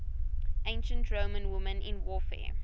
ancient roman women in warfare